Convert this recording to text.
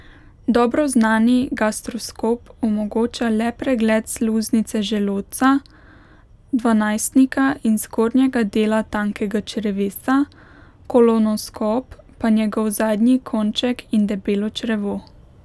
Dobro znani gastroskop omogoča le pregled sluznice želodca, dvanajstnika in zgornjega dela tankega črevesa, kolonoskop pa njegov zadnji konček in debelo črevo.